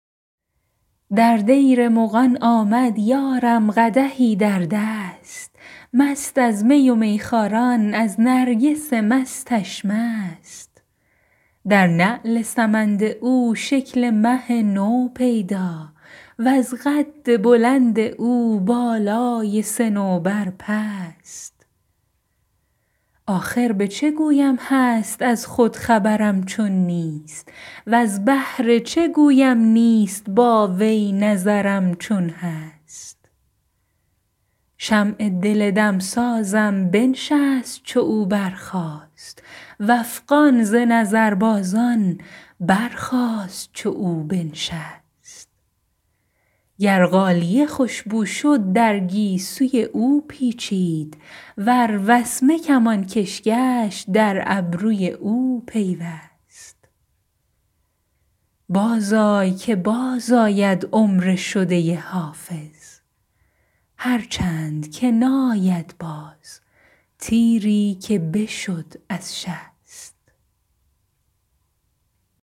در دیر مغان آمد یارم قدحی در دست مست از می و میخواران از نرگس مستش مست در نعل سمند او شکل مه نو پیدا وز قد بلند او بالای صنوبر پست آخر به چه گویم هست از خود خبرم چون نیست وز بهر چه گویم نیست با وی نظرم چون هست شمع دل دمسازم بنشست چو او برخاست و افغان ز نظربازان برخاست چو او بنشست گر غالیه خوش بو شد در گیسوی او پیچید ور وسمه کمانکش گشت در ابروی او پیوست بازآی که بازآید عمر شده حافظ هرچند که ناید باز تیری که بشد از شست